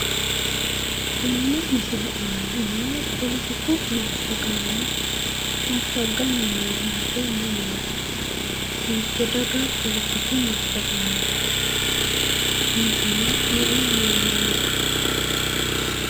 Tenne misile aana noo polotiku massagaano massagganni noo base mamaati? Hiitte daga politiku massaganooti? Insano me"u manni no?